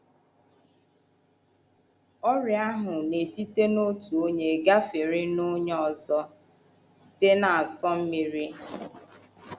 Ọrịa ahụ na - esite n’otu onye gafere n’onye ọzọ site n’asọ mmiri.